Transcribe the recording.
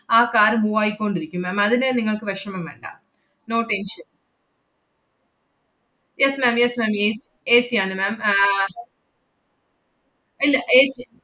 ആ car move ആയിക്കൊണ്ടിരിക്കും ma'am. അതിന് നിങ്ങൾക്ക് വെഷമം വേണ്ട. no tension yes ma'am yes ma'am ഏസ്~ AC യാണ് ma'am ആഹ് ഇല്ല AC